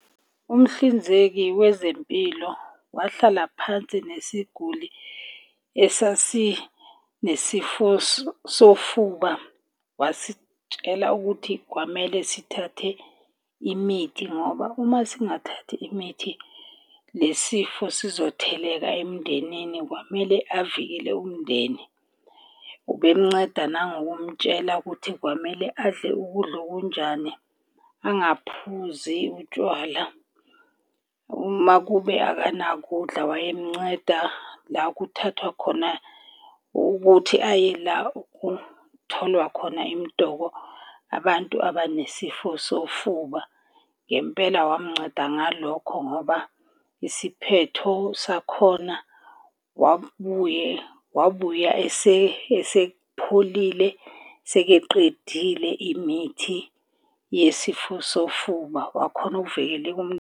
Umhlinzeki wezempilo wahlala phansi nesiguli esasinesifo sofuba, wasitshela ukuthi kwamele sithathe imithi ngoba uma singathi imithi le sifo sizotheleka emndenini kwamele avikele umndeni. Ube mnceda nangokumtshela ukuthi kwamele adle ukudla okunjani angaphuzi utshwala. Uma kube akanakudla wayemunceda la kuthathwa khona ukuthi aye la okutholwa khona imidoko abantu abanesifo sofuba. Ngempela wamnceda ngalokho ngoba isiphetho sakhona wabuye wabuya esepholile sekeqedile imithi yesifo sofuba. Wakhona ukuvikeleka.